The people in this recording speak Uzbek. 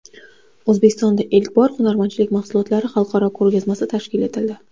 O‘zbekistonda ilk bor hunarmandlik mahsulotlari xalqaro ko‘rgazmasi tashkil etildi.